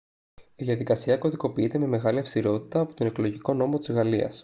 η διαδικασία κωδικοποιείται με μεγάλη αυστηρότητα από τον εκλογικό νόμο της γαλλίας